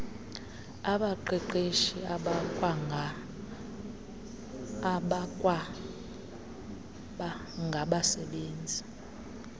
abaqeqeshi abakwaba nagbasebenzi